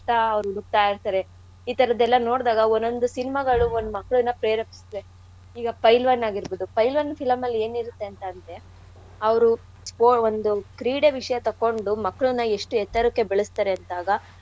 ಅವ್ರ್ ಹುಡುಕ್ತಾ ಇರ್ತಾರೆ. ಈತರದ್ದೆಲ್ಲಾ ನೋಡ್ದಾಗ ಒನ್-ಒಂದು cinema ಗಳು ಮಕ್ಕ್ಳನ್ನಾ ಪ್ರೇರೇಪ್ಸತ್ತೆ. ಈಗ ಪೈಲ್ವಾನ್ ಆಗಿರ್ಬೋದು. ಪೈಲ್ವಾನ್ film ನಲ್ ಎನಿರತ್ತೆ ಅಂತಂದ್ರೆ ಅವ್ರು ಸ್ಪೋ ಒಂದ್ ಕ್ರೀಡೆ ವಿಷ್ಯ ತೊಕ್ಕೊಂಡು ಮಕ್ಕ್ಳುನ್ನ ಎಷ್ಟ್ ಎತ್ತರಕ್ಕೆ ಬೆಳ್ಸ್ತಾರೆ ಅಂದಾಗ.